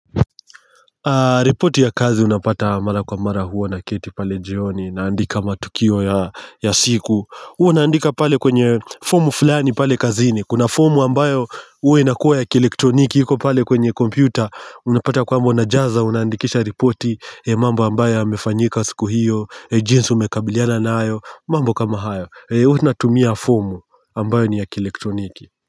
Ripoti ya kazi unapata mara kwa mara huwa naketi pale jioni naandika matukio ya ya siku huwa naandika pale kwenye form fulani pale kazini kuna form ambayo huwa inakuwa ya kielektroniki iko pale kwenye kompyuta unapata kwamba unajaza una andikisha ripoti mambo ambayo yamefanyika siku hiyo jinsi umekabiliana nayo mambo kama hayo huwa tunatumia formu ambayo ni ya kielektroniki.